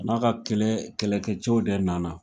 A n'a ka kɛlɛ kɛlɛkɛ cɛw de nana